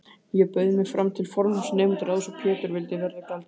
Ég bauð mig fram til formanns nemendaráðs og Pétur vildi verða gjaldkeri.